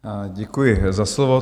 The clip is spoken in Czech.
Děkuji za slovo.